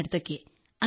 and now